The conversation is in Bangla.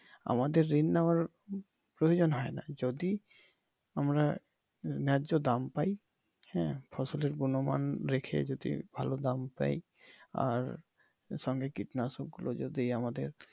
আমাদের ঋণ নেওয়ার প্রয়োজন হয়না যদি আমরা ন্যায্য দাম পাই হ্যাঁ ফসলের গুনমান রেখে যদি ভালো দাম পাই আর সঙ্গে কীটনাশক গুলো যদি আমাদের